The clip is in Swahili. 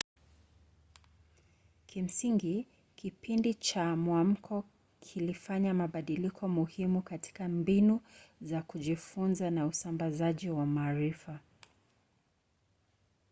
kimsingi kipindi cha mwamko kilifanya mabadiliko muhimu katika mbinu za kujifunza na usambazaji wa maarifa